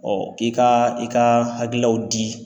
i ka i ka hakililaw di